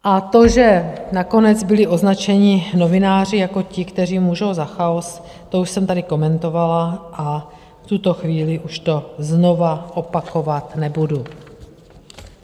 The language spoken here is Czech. A to, že nakonec byli označeni novináři jako ti, kteří můžou za chaos, to už jsem tady komentovala a v tuto chvíli už to znova opakovat nebudu.